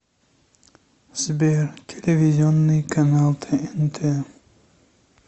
сбер телевизионный канал тнт